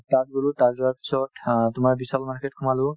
তাত গ'লো তাত যোৱাৰ পিছত অ তোমাৰ বিশাল market সোমালো